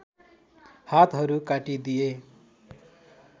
हातहरू काटी दिए